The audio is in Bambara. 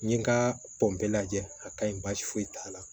N ye n ka pɔnpe lajɛ a ka ɲi baasi foyi t'a la